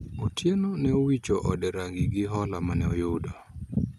Otieno ne owicho ode rangi gi hola mane oyudo